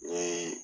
Ni